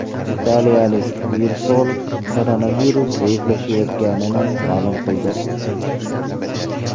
Italiyalik virusolog koronavirus zaiflashayotganini ma’lum qildi.